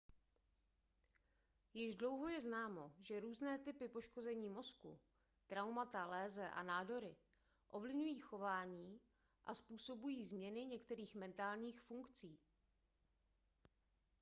již dlouho je známo že různé typy poškození mozku traumata léze a nádory ovlivňují chování a způsobují změny některých mentálních funkcí